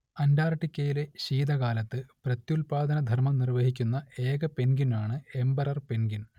അന്റാർട്ടിക്കയിലെ ശീതകാലത്ത് പ്രത്യുത്പാദനധർമ്മം നിർവഹിക്കുന്ന ഏക പെൻഗ്വിനാണ് എമ്പറർ പെൻഗ്വിൻ